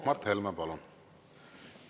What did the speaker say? Mart Helme, palun!